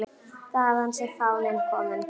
Þaðan sé fáninn kominn.